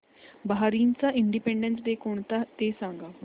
बहारीनचा independence day कोणता ते सांगा